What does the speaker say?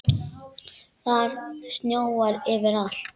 Það snjóar yfir allt.